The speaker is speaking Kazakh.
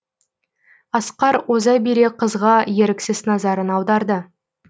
асқар оза бере қызға еріксіз назарын аударды